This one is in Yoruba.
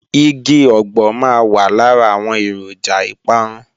Igi ọ̀gbọ̀ máa wà lára àwọn èròjà ìparun